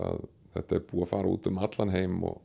þetta er búið að fara út um allan heim og